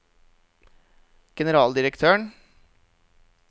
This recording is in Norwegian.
generaldirektøren